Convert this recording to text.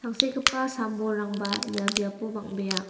tangsekgipa sam bolrangba ia biapo bang·bea.